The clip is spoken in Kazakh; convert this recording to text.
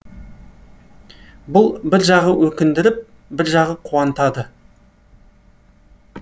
бұл бір жағы өкіндіріп бір жағы қуантады